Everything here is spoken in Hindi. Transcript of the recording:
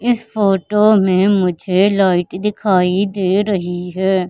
इस फोटो में मुझे लाइट दिखाई दे रही है।